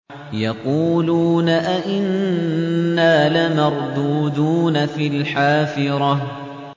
يَقُولُونَ أَإِنَّا لَمَرْدُودُونَ فِي الْحَافِرَةِ